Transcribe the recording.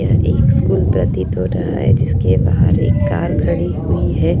यह एक स्कूल प्रतीत हो रहा है जिसके बाहर एक कार गाड़ी खड़ी हुई हैं।